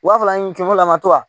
U b'a fɔ a ni kɛlo lama tora